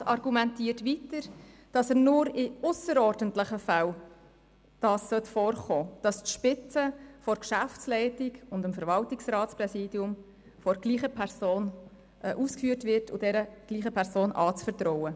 Er argumentiert weiter, dass es nur in ausserordentlichen Fällen vorkommen solle, dass die Spitze der Geschäftsleitung und das Präsidium des Verwaltungsrats derselben Person anvertraut würden.